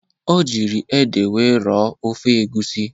O jiri ede wee rọọ ofe egwusi ahụ.